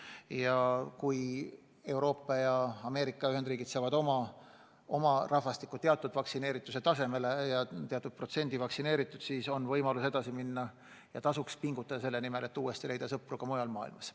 Ja kui Euroopa ja Ameerika Ühendriigid saavutavad oma rahvastikus teatud vaktsineerituse taseme, saavad teatud protsendi vaktsineeritud, siis on võimalus edasi minna ja tasub pingutada selle nimel, et uuesti leida sõpru ka mujal maailmas.